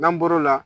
N'an bɔr'o la